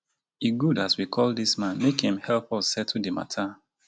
e good as we call dis man make im help us settle di mata